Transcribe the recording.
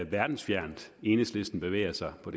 verdensfjernt enhedslisten bevæger sig på